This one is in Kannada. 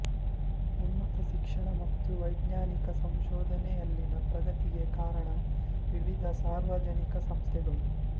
ಉನ್ನತ ಶಿಕ್ಷಣ ಮತ್ತು ವೈಜ್ಞಾನಿಕ ಸಂಶೋಧನೆಯಲ್ಲಿನ ಪ್ರಗತಿಗೆ ಕಾರಣ ವಿವಿಧ ಸಾರ್ವಜನಿಕ ಸಂಸ್ಥೆಗಳು